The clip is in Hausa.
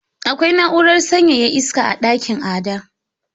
Akwai na’urar sanyaya iska a dakin Ada.